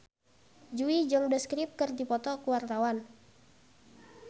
Jui jeung The Script keur dipoto ku wartawan